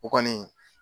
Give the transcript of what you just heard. O kɔni